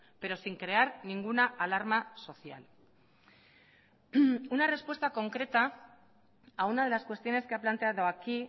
pero sin crear ninguna alarma social una respuesta concreta a una de las cuestiones que ha planteado aquí